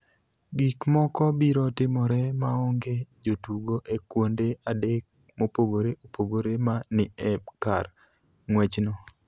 Gik moko biro timore maonge jotugo e kuonde adek mopogore opogore ma ni e kar ng�wechno.